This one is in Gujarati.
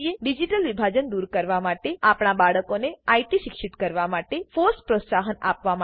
ડિજિટલ વિભાજન દૂર કરવા માટે આપણા બાળકોને આઇટી શિક્ષિત કરવા માટે ફોસ પ્રોત્સાહન આપવા માટે